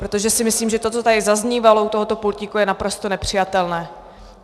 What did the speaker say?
Protože si myslím, že to, co tady zaznívalo u tohoto pultíku, je naprosto nepřijatelné.